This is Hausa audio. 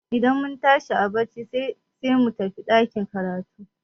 Idan mun tashi a barci sai mu tafi ɗakin karatun.